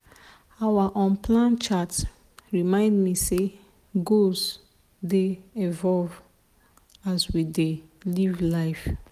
our unplanned chat remind me say goals dey evolve as we dey live life.